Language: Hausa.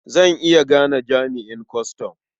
Zan iya gane jami'an kwastam.